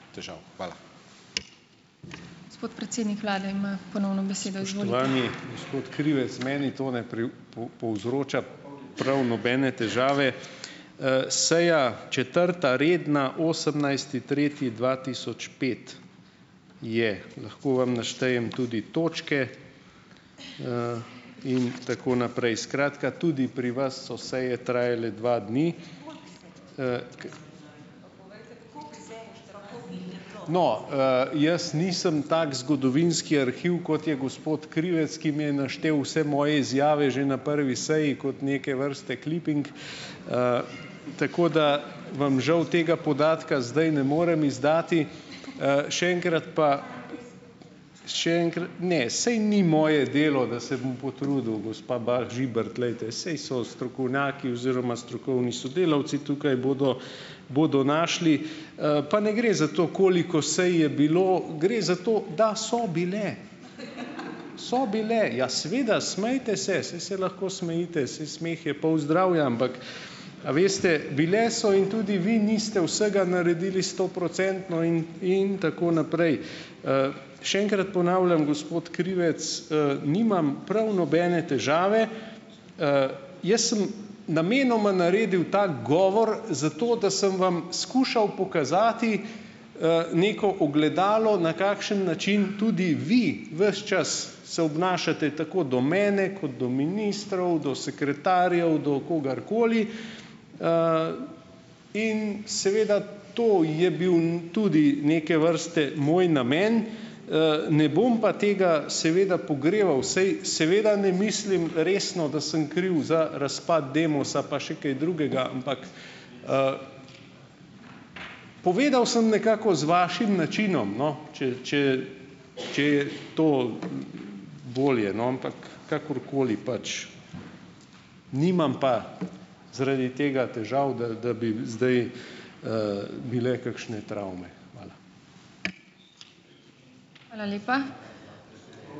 Gospod Krivec. Meni to ne povzroča prav nobene težave. seja četrta redna, osemnajsti tretji dva tisoč pet, je lahko vam naštejem tudi točke, in tako naprej. Skratka, tudi pri vas so seje trajale dva dni. No, jaz nisem tako zgodovinski arhiv, kot je gospod Krivec, ki mi je naštel vse moje izjave že na prvi seji, kot neke vrste kliping, tako da vam žal tega podatka zdaj ne morem izdati. Še enkrat pa ... Še ne, saj ni moje delo, da se bom potrudil gospa Bah Žibert, glejte, saj so strokovnjaki oziroma strokovni sodelavci tukaj, bodo bodo našli. Pa ne gre za to, koliko sej je bilo, gre za to, da so bile. So bile. Ja seveda, smejte se, saj se lahko smejite, saj smeh je pol zdravja, ampak a veste, bile so in tudi vi niste vsega naredili stoprocentno in in tako naprej. Še enkrat ponavljam, gospod Krivec, nimam prav nobene težave. Jaz sem namenoma naredil tak govor zato, da sem vam skušal pokazati, neko ogledalo, na kakšen način tudi vi ves čas se obnašate, tako do mene, kot do ministrov, do sekretarjev, do kogarkoli, in seveda to je bil tudi neke vrste moj namen, ne bom pa tega seveda pogreval, saj seveda ne mislim resno, da sem kriv za razpad Demosa pa še kaj drugega, ampak, povedal sem nekako z vašim načinom, no, če če če je to bolje, no, ampak kakorkoli pač nimam pa zaradi tega težav, da da bi zdaj, bile kakšne travme. Hvala.